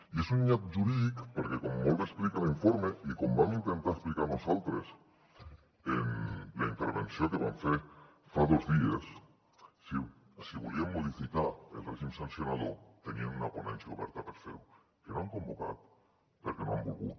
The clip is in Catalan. i és un nyap jurídic perquè com molt bé explica l’informe i com vam intentar explicar nosaltres en la intervenció que vam fer fa dos dies si volien modificar el règim sancionador tenien una ponència oberta per fer ho que no han convocat perquè no han volgut